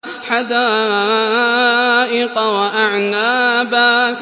حَدَائِقَ وَأَعْنَابًا